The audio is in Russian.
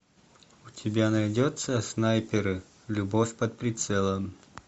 у тебя найдется снайперы любовь под прицелом